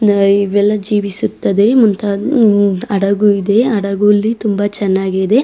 ನಾಯಿ ಇವೆಲ್ಲ ಜೀವಿಸುತ್ತದೆ ಮುಂತಾದ ಹಡಗು ಇದೆ ಹಡಗು ಇಲ್ಲಿ ತುಂಬಾ ಚೆನ್ನಾಗಿದೆ.